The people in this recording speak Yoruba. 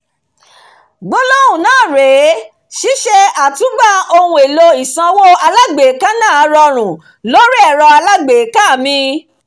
gbólóhùn náà rè é: "ṣíṣe àtúngbà ohun èlò ìsanwó alágbèéká náà rọrùn lórí ẹ̀rọ alágbèéká mi"